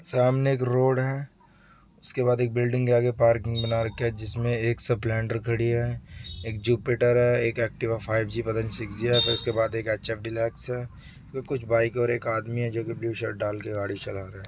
सामने एक रोड है। उसके बाद एक बिल्डिंग के आगे पार्किंग बना रखी है। जिसमे एक स्प्लेंडर खड़ी है। एक जुपिटर है। एक अकटिवा फाइव जी है। पता नहीं सिक्स जी है। फिर इसके बाद ऐच_ऐफ डीलक्स है। कुछ बाइक और आदमी है जो कि ब्लू शर्ट डाल के गाड़ी चला रहा है।